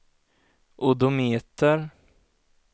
odometer